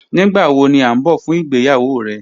Nigbawo ni a n bọ fun igbeyawo rẹ?